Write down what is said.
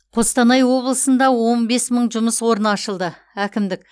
қостанай облысында он бес мың жұмыс орны ашылды әкімдік